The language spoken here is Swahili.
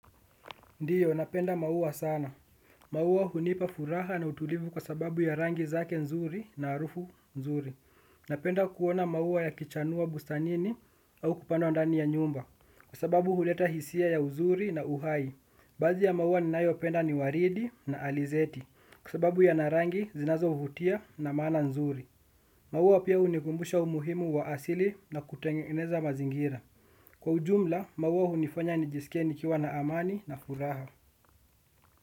Ndiyo, napenda maua sana. Maua hunipa furaha na utulivu kwa sababu ya rangi zake nzuri na harufu nzuri. Napenda kuona maua ya kichanua bustanini au kupanda ndani ya nyumba. Kwa sababu huleta hisia ya uzuri na uhai. Baadhi ya maua ninayo penda ni waridi na alizeti. Kwa sababu yana rangi zinazo vutia na maana nzuri. Maua pia hunikumbusha umuhimu wa asili na kutengeneza mazingira. Kwa ujumla, maua hunifanya nijisikie nikiwa na amani na furaha.